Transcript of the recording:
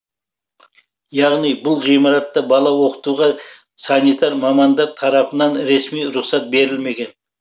яғни бұл ғимаратта бала оқытуға санитар мамандар тарапынан ресми рұқсат берілмеген